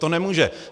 To nemůže.